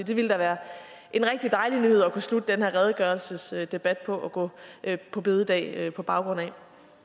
det ville da være en rigtig dejlig nyhed at kunne slutte den her redegørelsesdebat på og gå på bededag på baggrund af